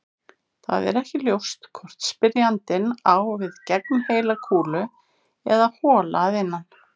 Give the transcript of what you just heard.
Það er ekki ljóst hvort spyrjandinn á við gegnheila kúlu eða hola að innan.